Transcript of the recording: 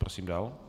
Prosím dál.